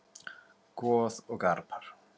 Goð og garpar